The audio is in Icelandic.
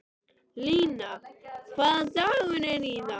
Lína, hvaða dagur er í dag?